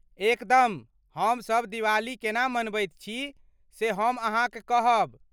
एकदम , हमसभ दिवाली केना मनबैत छी से हम अहाँक कहब।